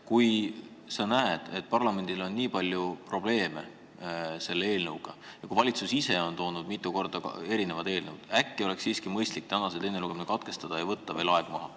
Kui sa näed, et parlamendil on selle eelnõuga nii palju probleeme ja kui valitsus ise on esitanud mitu erinevat eelnõu, äkki oleks siiski mõistlik täna teine lugemine katkestada ja võtta veel aeg maha.